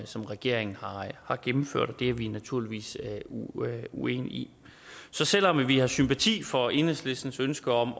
som regeringen har gennemført det er vi naturligvis uenige i så selv om vi har sympati for enhedslistens ønske om